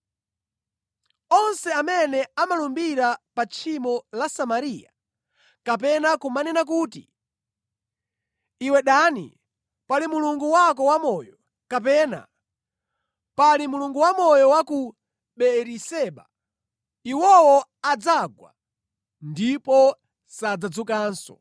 Onse amene amalumbira pa tchimo la Samariya, kapena kumanena kuti, ‘Iwe Dani, pali mulungu wako wamoyo,’ kapena, ‘Pali mulungu wamoyo wa ku Beeriseba.’ Iwowo adzagwa ndipo sadzadzukanso.”